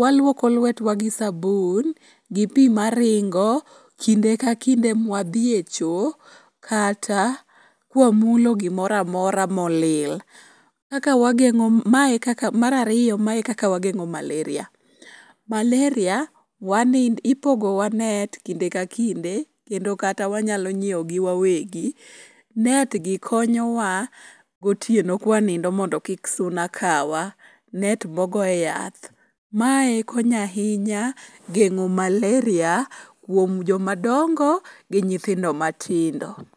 walwoko lwetwa gi sabun gi pi maringo kinde kakinde mwa dhi e cho, kata kwa mulo gimora mora molil. Mar ariyo, mae e kaka wageng'o malaria, malaria, ipogowa net kinde ka kinde kendo kata wanyalo nyiewogi wawegi. Netgi konyowa gotieno kwa nindo mondo kik suna kawa. Net mogoye yath. Mae konyo ahinya geng'o malaria kuom jomadongo gi nyithindo matindo.